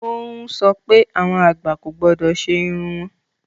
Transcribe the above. O ń sọ pé awọn agbá kò gbọdọ̀ sẹ irùn wọn.